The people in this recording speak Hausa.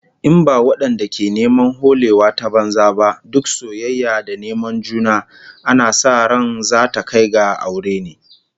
In ba wadanda ke neman holewa ta banza ba, duk soyayya da neman juna ana sa ran zata kai ga aure ne